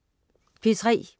P3: